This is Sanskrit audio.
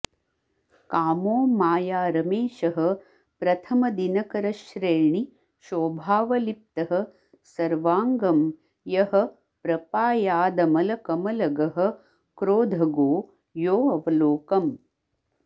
कामो माया रमेशः प्रथमदिनकरश्रेणि शोभावलिप्तः सर्वाङ्गं यः प्रपायादमलकमलगः क्रोधगो योऽवलोकम्